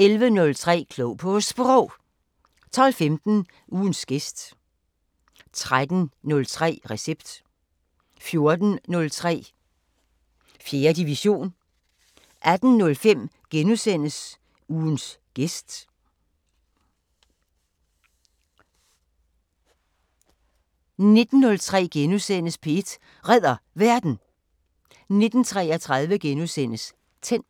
11:03: Klog på Sprog 12:15: Ugens gæst 13:03: Recept 14:03: 4. division 18:05: Ugens gæst * 19:03: P1 Redder Verden * 19:33: Tændt *